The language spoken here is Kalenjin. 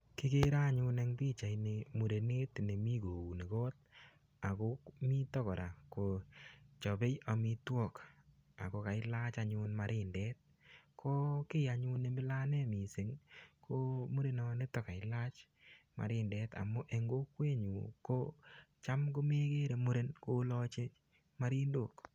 Kigere anyun eng pichaini murenet nemi kouni kot ago mito kora kochapei amitwok ago kailach anyun marindet. Ko kiy anyun ne mila anne mising ii, ko murenonito kailach marindet amu eng kokwenyu ko cham ko megere muren kolachi marindok.